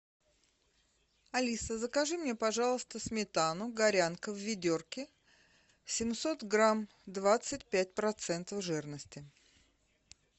алиса закажи мне пожалуйста сметану горянка в ведерке семьсот грамм двадцать пять процентов жирности